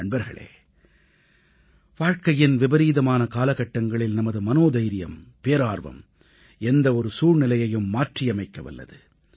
நண்பர்களே வாழ்க்கையின் விபரீதமான காலகட்டங்களில் நமது மனோதைரியம் பேரார்வம் எந்த ஒரு சூழ்நிலையையும் மாற்றியமைக்க வல்லது